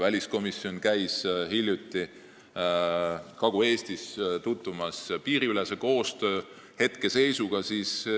Väliskomisjon käis hiljuti Kagu-Eestis piiriülese koostöö olukorraga tutvumas.